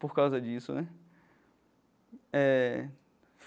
Por causa disso né eh.